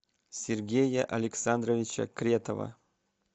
сергея александровича кретова